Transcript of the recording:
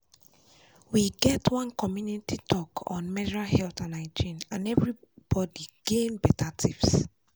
we get one community talk on menstrual health and hygiene and everybody gain better tips.